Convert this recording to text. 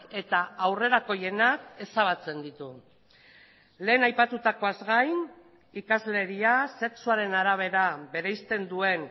eta aurrerakoienak ezabatzen ditu lehen aipatutakoaz gain ikasleria sexuaren arabera bereizten duen